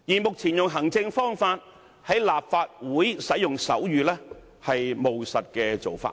目前透過行政方法在立法會使用手語，是務實的做法。